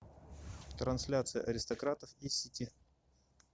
трансляция аристократов и сити